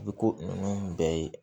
Bi ko ninnu bɛɛ ye